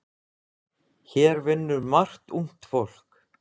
Hér vinnur margt ungt fólk.